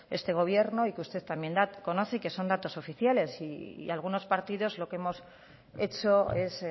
este gobierno y que usted también da y conoce y que son datos oficiales y algunos partidos lo que hemos hecho es